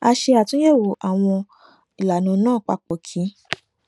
a ṣe àtúnyèwò àwọn ìlànà náà papọ kí